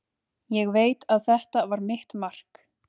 Ég veit að þetta var mitt mark.